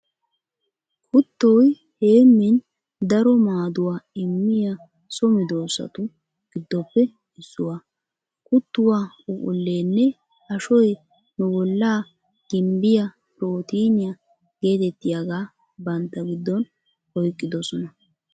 Kuuttoy heemmin daro maaduwaa immiya so meedoosatu giddoppe issuwaa. Kuttuwaa phuphphulleenne ashoy nu bollaa gimbbiya pirootiiniya geetettiyagaa bantta giddon oyqqidosona.